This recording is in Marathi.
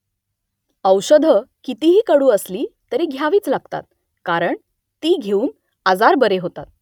औषधं कितीही कडू असली तरी घ्यावीच लागतात कारण ती घेऊन आजार बरे होतात